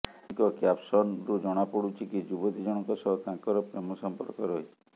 ଏମିଙ୍କ କ୍ୟାପସନ୍ରୁ ଜଣାପଡୁଛି କି ଯୁବତୀ ଜଣଙ୍କ ସହ ତାଙ୍କର ପ୍ରେମ ସଂପର୍କ ରହିଛି